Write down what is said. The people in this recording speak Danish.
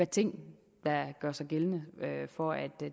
ting der gør sig gældende for at